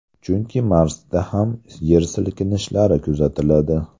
Chunki Marsda ham yer silkinishlari kuzatiladi.